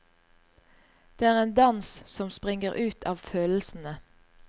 Det er en dans som springer ut av følelsene.